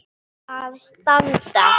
að standa.